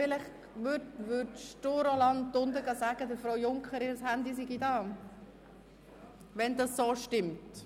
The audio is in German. – Es scheint Grossrätin Junker zu gehören, und Grossrat Näf richtet ihr bitte aus, dass ihr Handy da ist.